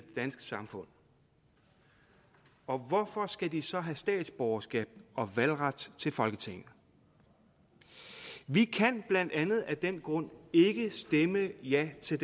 danske samfund og hvorfor skal de så have statsborgerskab og valgret til folketinget vi kan blandt andet af den grund ikke stemme ja til